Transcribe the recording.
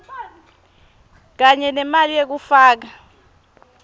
kanye nemali yekufaka